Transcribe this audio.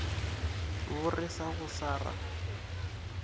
bo re go sa ra